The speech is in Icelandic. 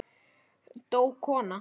Dó kona?